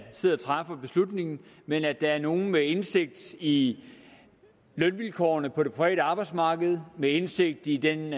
sidder og træffer beslutningen men at der er nogle med indsigt i lønvilkårene på det private arbejdsmarked og med indsigt i den